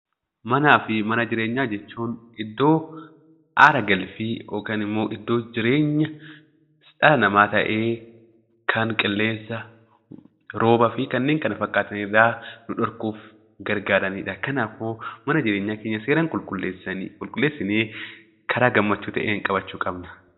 Manaa fi mana jireenyaa jechuun iddoo aara galfii yookaan immoo iddoo jireenya dhala namaa ta'ee, kan qilleensa, roobaa fi kanneen kana fakkaatu irraa nu dhorkuuf gargaarani dha. Kanaafuu mana jireenyaa keessa seeraan qulqulleessinee karaa gammachuu ta'een qabachuu qabna.